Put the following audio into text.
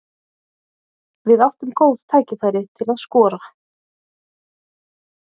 Við áttum góð tækifæri til að skora.